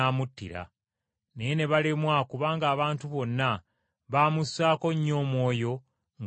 Naye ne balemwa kubanga abantu bonna baamussaako nnyo omwoyo nga bamuwuliriza.